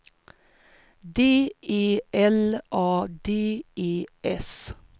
D E L A D E S